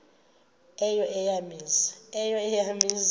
eyo eya mizi